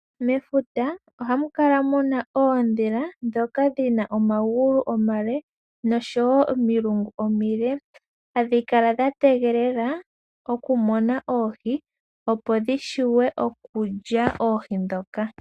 Mefuta, ohamu kala muna oondjila ndhoka dhina omagulu omale, nosho wo omilungu omile, hadhi kala dha tegelele oku mona oohi, opo dhi vule okulya oohi ndhoka.